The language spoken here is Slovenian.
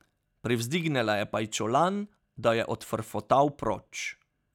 Privzdignila je pajčolan, da je odfrfotal proč.